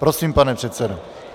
Prosím, pane předsedo.